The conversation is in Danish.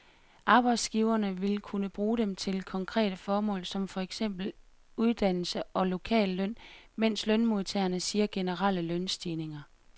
Arbejdsgiverne vil kunne bruge dem til konkrete formål som for eksempel uddannelse og lokalløn, mens lønmodtagerne siger generelle lønstigninger.